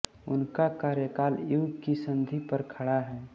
उनका कार्यकाल युग की सन्धि पर खड़ा है